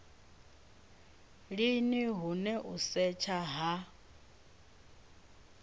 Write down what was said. lini hune u setsha ha